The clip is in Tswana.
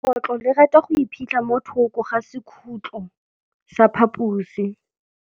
Legôtlô le rata go iphitlha mo thokô ga sekhutlo sa phaposi.